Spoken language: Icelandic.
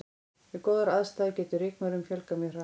Við góðar aðstæður getur rykmaurum fjölgað mjög hratt.